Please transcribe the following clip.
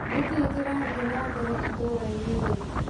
Nĩkĩĩ kĩrathiĩ na mbere itũra-inĩ rĩu?